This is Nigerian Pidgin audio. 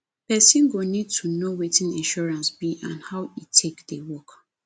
person go need to know wetin insurance be and how e take dey work